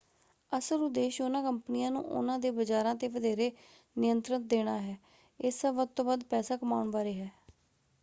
ਅਸਲ ਉਦੇਸ਼ ਉਹਨਾਂ ਕੰਪਨੀਆਂ ਨੂੰ ਉਹਨਾਂ ਦੇ ਬਜ਼ਾਰਾਂ 'ਤੇ ਵਧੇਰੇ ਨਿਯੰਤਰਣ ਦੇਣਾ ਹੈ; ਇਹ ਸਭ ਵੱਧ ਤੋਂ ਵੱਧ ਪੈਸਾ ਕਮਾਉਣ ਬਾਰੇ ਹੈ।